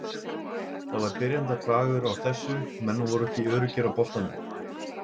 Það var byrjendabragur á þessu, menn voru ekki öruggir á boltanum.